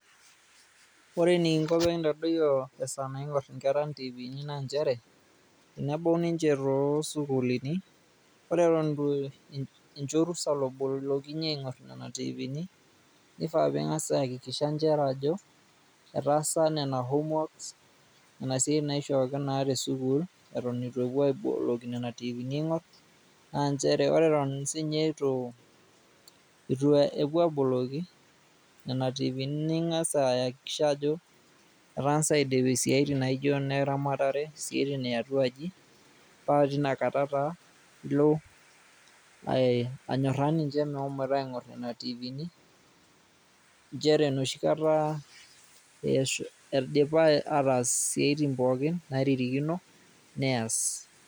Ore enikingo pekintadoyio esaa naingor inkera tifini naa nchere tenebau ninche too sukulini ore Eton incho orusa lobolokinye aingor Nena tifiini ,nifaa pingas ayakikisha nchere Ajo etaasa nena homeworks Nena siatin naishooki naa te sukuul eton itu epuo aboloki nena tifiini aingor . Naa nchere ore Eton sinye itu epuo aboloki nena tifiini ningas ayakikisha ajo etangasa aidip isiatin nijo ineramatare ,siatin eatua aji paa Tina kata taa ilo anyoraa ninche mehomoita aingor nena tifiini.